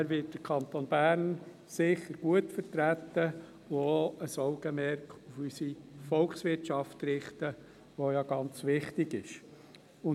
Er wird den Kanton Bern sicher gut vertreten und auch ein Augenmerk auf unsere Volkswirtschaft richten, die ganz wichtig ist.